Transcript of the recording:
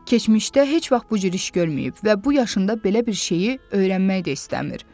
Keçmişdə heç vaxt bu cür iş görməyib və bu yaşında belə bir şeyi öyrənmək də istəmir.